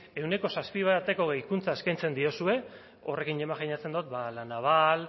ehuneko zazpi bateko gehikuntza eskaintzen diozue horrekin imajinatzen dut la naval